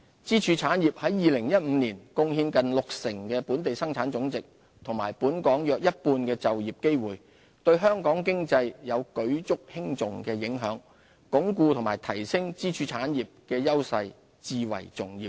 支柱產業在2015年貢獻近六成本地生產總值和本港約一半的就業機會，對香港經濟有舉足輕重的影響，鞏固及提升支柱產業的優勢至為重要。